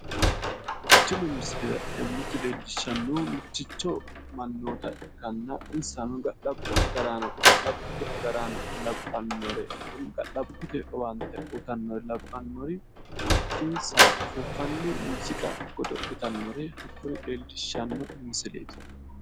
Tini misile leellishanohu ga'labbote agarrano babbaxinoha muziiqu uduune amadde sokkansa saysanni noottati